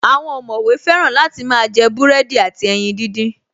Àwọn ọ̀mọ̀wé fẹ́ràn láti máa jẹ búrẹ́dì àti ẹyin díndín